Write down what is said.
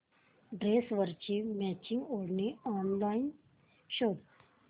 ड्रेसवरची मॅचिंग ओढणी ऑनलाइन शोध